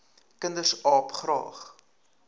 kinders aap graag